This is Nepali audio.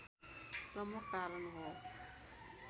प्रमुख कारण हो